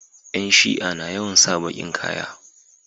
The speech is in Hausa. Yan shia na yawan sa bakin ƙaya